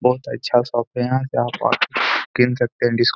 बोहत अच्छा शॉप है यहां का सकते हैं डिस्काउंट --